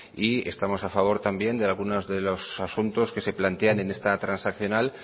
y estamos a favor también de algunos de los asuntos que se plantean en esta transaccional